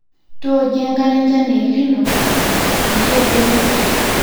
tooki enkare enchan e el nino peyie melo pesho